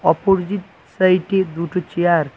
Opposite side -এ দুটো chair.